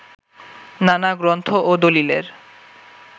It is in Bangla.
নানা গ্রন্থ ও দলিলের